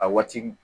A waati